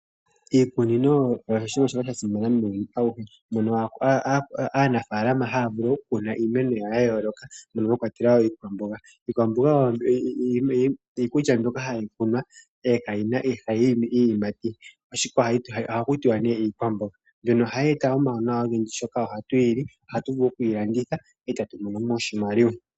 Iikunino oyo shimwe shoka sha simana muuyuni awuhe, mono aanafalama haa vulu okukuna iimeno yawo ya yooloka mono mwa kwatelwa wo iikwamboga ,iikwamboga oyo iikulya mbyoka hayi kunwa ihe ihaa yi imi iiyimati ohaku tiwa nee iikwamboga, mbyono ohaaye ta omauwanawa ogendji oshoka tu yi ohagu vulu okuyi landitha eta tu mono mo oshimaliwa.